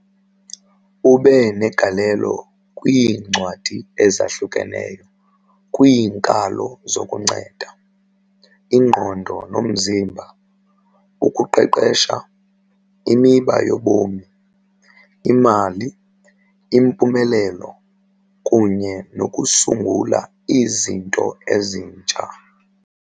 Ube negalelo kwiincwadi ezahlukeneyo kwiinkalo zokuzinceda, ingqondo nomzimba, ukuqeqesha, imiba yobomi, imali, impumelelo, kunye nokusungula izinto ezintsha.